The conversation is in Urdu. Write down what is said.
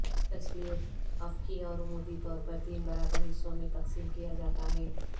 تصویر افقی اور عمودی طور پر تین برابر حصوں میں تقسیم کیا جاتا ہے